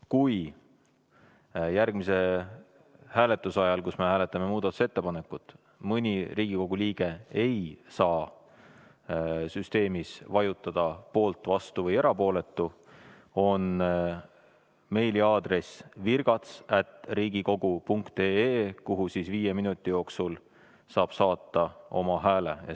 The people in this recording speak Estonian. Kui järgmise hääletuse ajal, kui me hääletame muudatusettepanekut, mõni Riigikogu liige ei saa süsteemis vajutada "poolt", "vastu" või "erapooletu", on meiliaadress virgats@riigikogu.ee, kuhu siis viie minuti jooksul saab saata oma hääle.